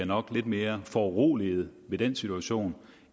nok lidt mere foruroligede i den situation